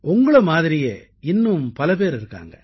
உங்களைப் போலவே கதை சொல்பவர்கள் மேலும் பலர் இருக்கிறார்கள்